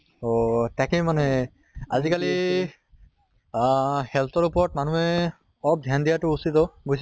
অহ তাকে মানে আজি কালি আহ health ওপৰত মানুহে অলপ ধ্য়ান দিয়াটো উচিত অʼ বুইছা